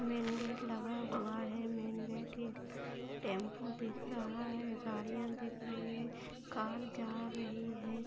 Main gate लगा हुआ है मेन गेट टेंपू दिख रहा है गाड़ीया दिख रही है। कार जा रही है।